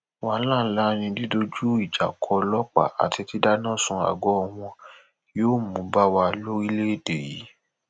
wàhálà ńlá ni dídójú ìjà kó ọlọpàá àti dídáná sun àgọ wọn yóò mú bá wa lórílẹèdè yìí